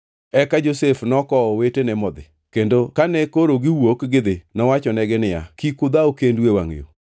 Eka Josef nokowo owetene modhi, kendo kane koro giwuok gidhi nowachonegi niya, “Kik udhaw kendu e wangʼ yo!”